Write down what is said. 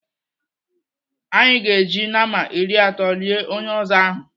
Anyị ga-eji nama iri atọ lie onye ọzọ ahụ.